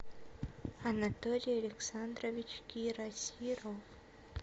анатолий александрович кирасиров